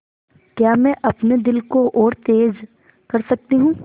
क्या मैं अपने दिल को और तेज़ कर सकती हूँ